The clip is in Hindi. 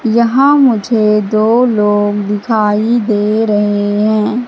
यहां मुझे दो लोग दिखाई दे रहे हैं।